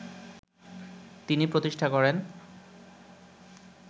তিনি প্রতিষ্ঠা করেন